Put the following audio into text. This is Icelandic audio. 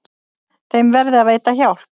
Þeim verði að veita hjálp.